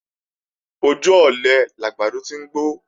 Ojú ọ̀lẹ làgbàdo ti ń gbó